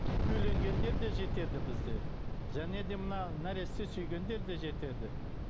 үйленгендер де жетеді бізде және де мына нәресте сүйгендер де жетеді